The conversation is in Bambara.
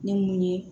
Ni mun ye